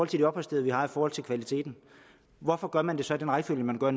de opholdssteder vi har i forhold til kvaliteten hvorfor gør man det så i den rækkefølge man gør